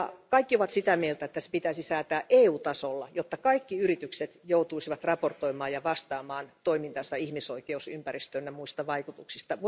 Kaikki ovat sitä mieltä, että se pitäisi säätää EU tasolla, jotta kaikki yritykset joutuisivat raportoimaan ja vastaamaan toimintansa ihmisoikeus ympäristö ynnä muista vaikutuksista.